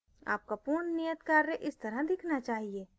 आपका पूर्ण नियत कार्य इस तरह दिखना चाहिए